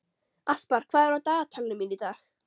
Aspar, hvað er á dagatalinu mínu í dag?